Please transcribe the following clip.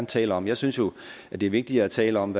tale om jeg synes jo at det er vigtigere at tale om